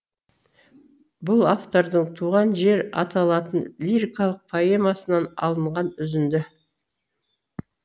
бұл автордың туған жер аталатын лирикалық поэмасынан алынған үзінді